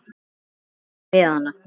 sunnan megin við hana.